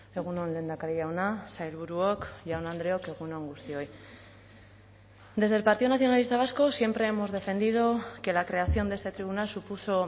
egun on lehendakari jauna sailburuok jaun andreok egun on guztioi desde el partido nacionalista vasco siempre hemos defendido que la creación de este tribunal supuso